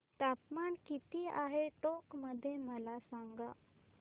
तापमान किती आहे टोंक मध्ये मला सांगा